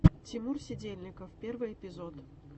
тимур сидельников первый эпизод